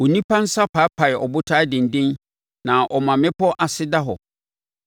Onipa nsa paapae abotan denden na ɔma mmepɔ ase da hɔ.